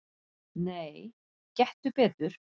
"""Nei, gettu betur"""